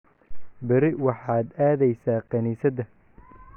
Berri waxaad aadaysaa kaniisadda.